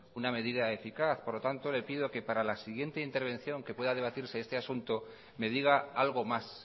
una medida eficaz por lo tanto le pido que para la siguiente intervención que pueda debatirse este asunto me diga algo más